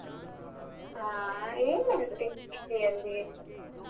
ಹಾ ಏನ್ ನೋಡ್ತಿ TV ಅಲ್ಲಿ ?